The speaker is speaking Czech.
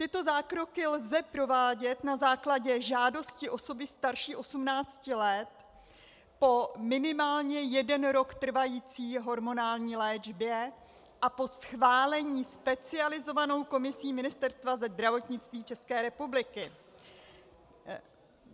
Tyto zákroky lze provádět na základě žádosti osoby starší 18 let, po minimálně jeden rok trvající hormonální léčbě a po schválení specializovanou komisí Ministerstva zdravotnictví České republiky...